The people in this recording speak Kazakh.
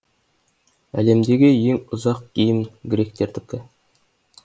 әлемдегі ең ұзақ гимн гректердікі